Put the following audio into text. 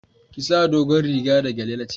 Ki sa dogon riga da gyale na ce